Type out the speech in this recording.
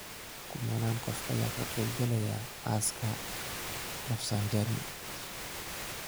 Kumanaan qof ayaa ka qeyb galaya aaska Rafsanjani